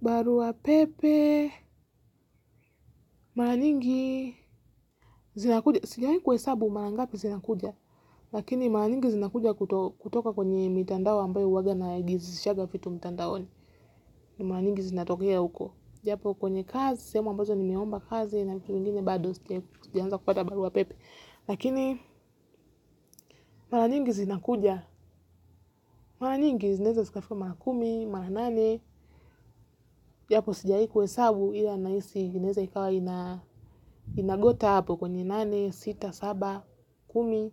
Baruapepe, mara nyingi zinakuja. Sijawahi kuhesabu mara ngapi zinakuja. Lakini mara nyingi zinakuja kutoka kwenye mitandao ambayo huwaga najisalishanga vitu mtandaoni. Ni mara nyingi zinatokea huko. Japo kwenye kazi, sehemu ambazo nimeomba kazi na vitu vingine bado, sijaanza kupata baruapepe. Lakini mara nyingi zinakuja. Mara nyingi zinaeza zikafika mara kumi, mara nane. Japo sijai kuhesabu, ila nahisi zinaeza ikawa inagota hapo, kwenye nane, sita, saba, kumi,